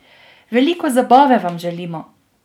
Veliko zabave vam želimo!